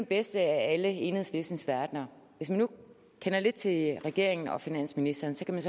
bedste af alle enhedslistens verdener hvis man nu kender lidt til regeringen og finansministeren kan man